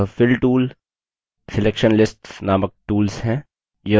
यह fill tool selection lists नामक tools हैं